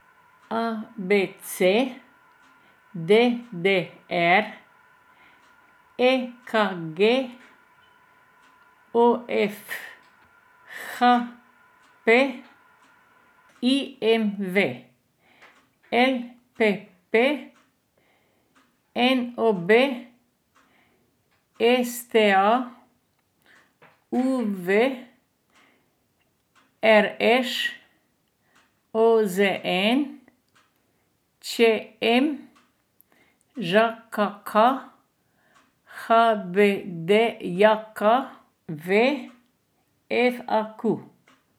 A B C; D D R; E K G; O F; H P; I M V; L P P; N O B; S T A; U V; R Š; O Z N; Č M; Ž K K; H B D J K V; F A Q.